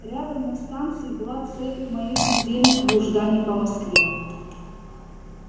рядом на станции была цель моих недельных блужданий по москве